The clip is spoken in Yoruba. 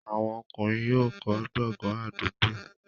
àwọn ọkùnrin yóò kọ́ gbọ̀ngàn àdúgbò.